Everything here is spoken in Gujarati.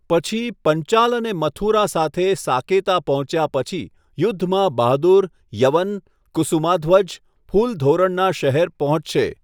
પછી, પંચાલ અને મથુરા સાથે સાકેતા પહોંચ્યા પછી, યુદ્ધમાં બહાદુર, યવન, કુસુમાધ્વજ, ફૂલ ધોરણના શહેર પહોંચશે.